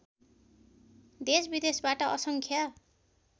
देशविदेशबाट असङ्ख्य